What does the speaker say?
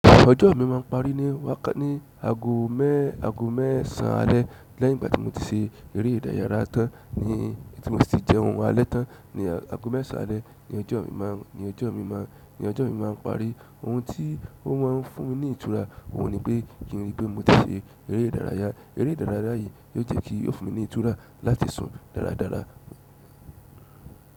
Ọjọ́ mi máa ń parí ni wá kà ní aago mẹ́ aago mẹ́ẹsàn alẹ́ lẹ́yìn ìgbà tí mo ti ṣe eré ìdárayá tán ní tí mo sì jẹ oúnjẹ alẹ́ tán ní aago mẹ́sàn alẹ́ ni ọjọ́ mi máa ń ni ọjọ́ mi máa ń ni ọjọ́ mi máa ń parí. Òùn tì ò màà ń fùn mì nì ìtùrà òhùn nì pè, kìn rìpè mò ṣèrè, èrè ìdààràyà èrè ìdààràyà yìì nì ò jẹ kì ò fùn mì nì ìtùrà làtì sùn dàràdàrà.